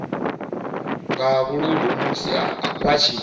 nga vhuludu musi vha tshi